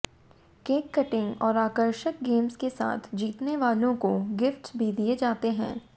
cake cutting और आकर्षक games के साथ जीतने वालों को गिफ्ट्स भी दिए जाते हैं